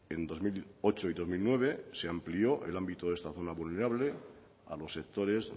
en dos mil ocho y dos mil nueve se amplió el ámbito de esta zona vulnerable a los sectores